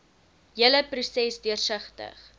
hele proses deursigtig